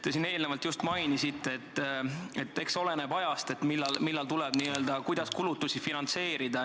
Te siin enne just mainisite, et eks oleneb ajast, millal ja kuidas tuleb kulutusi finantseerida.